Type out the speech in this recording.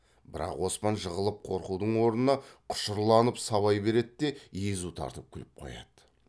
бірақ оспан жығылып қорқудың орнына құшырланып сабай береді де езу тартып күліп қояды